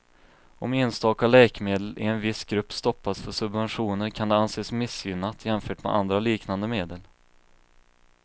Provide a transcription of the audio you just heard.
Om enstaka läkemedel i en viss grupp stoppas för subventioner kan det anses missgynnat jämfört med andra liknande medel.